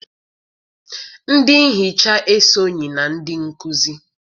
Ndị nhicha esonyị na ndị nkuzi